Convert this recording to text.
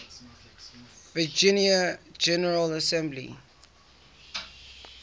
virginia general assembly